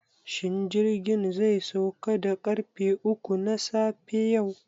Shin jirgin zai sauka da ƙarfe uku na safe yau?